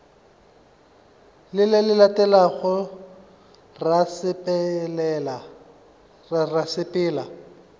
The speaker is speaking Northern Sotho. le le latelago ra sepela